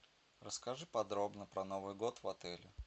расскажи подробно про новый год в отеле